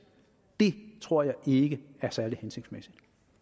det tror jeg ikke er særlig hensigtsmæssigt